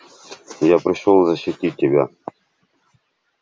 я пришёл защитить тебя